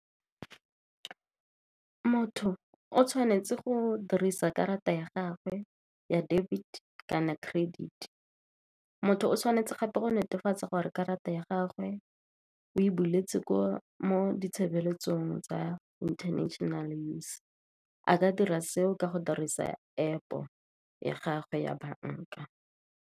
Motho o tshwanetse go dirisa karata ya gagwe ya debit kana credit. Motho o tshwanetse gape go netefatsa gore karata ya gagwe o e buletse mo ditshebeletsong tsa international news. A ka dira seo ka go dirisa App ya gagwe ya banka.